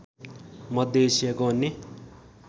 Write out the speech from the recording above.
मध्य एसियाको अन्य